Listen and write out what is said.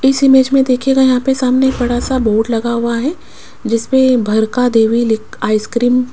इस इमेज में देखिएगा यहां पे सामने एक बड़ा सा बोर्ड लगा हुआ है जिस पे भरका देवी लिख आइसक्रीम --